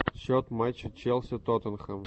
счет матча челси тоттенхэм